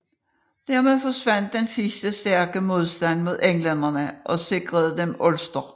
Dermed forsvandt den sidste stærke modstand mod englænderne og sikrede dem Ulster